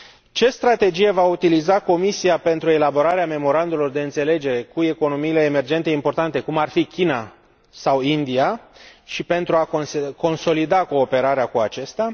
Ce strategie va utiliza Comisia pentru elaborarea memorandumurilor de înțelegere cu economiile emergente importante, cum ar fi China sau India, și pentru a consolida cooperarea cu acestea?